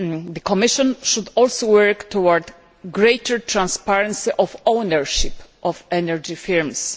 The Commission should also work towards greater transparency of the ownership of energy firms.